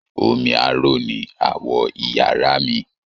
Omi aró ni awọ̀ iyàrá mi.